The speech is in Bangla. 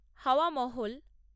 হাওয়া মহল